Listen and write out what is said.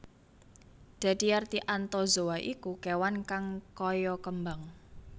Dadi arti Anthozoa iku kéwan kang kaya kembang